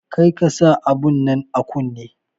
Kar ka sa abun nan a kunne!